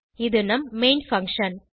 இது நம் main function